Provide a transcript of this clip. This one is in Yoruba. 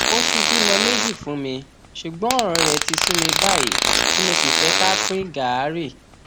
ó ti bímọ méjì fún mi ṣùgbọn ọrọ rẹ ti sú mi báyìí tí mo sì fẹ ká pín gàárì